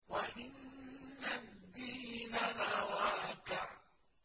وَإِنَّ الدِّينَ لَوَاقِعٌ